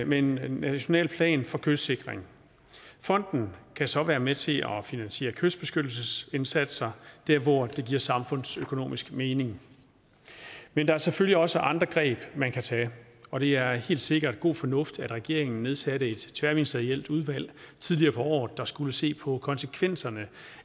med en national plan for kystsikring fonden kan så være med til at finansiere kystbeskyttelsesindsatser der hvor det giver samfundsøkonomisk mening men der er selvfølgelig også andre greb man kan tage og det er helt sikkert god fornuft at regeringen nedsatte et tværministerielt udvalg tidligere på året der skulle se på konsekvenserne